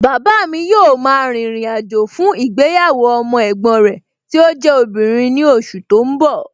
Bàbáa mi yóò ma rìnrìn àjò fún ìgbéyàwó ọmọ ẹ̀gbọ́n rẹ tí ó jẹ́ obìnrin ní oṣù tó ń bọ̀